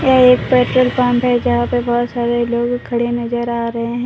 यह एक petrol pump है जहां पे बहोत सारे लोग खड़े नजर आ रहे हैं।